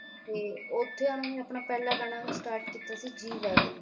ਤੇ ਉੱਥੇ ਉਨ੍ਹਾਂ ਨੇ ਆਪਣਾ ਪਹਿਲਾ ਗਾਣਾ start ਕੀਤਾ ਸੀ ਜੀ ਵੈਗਨ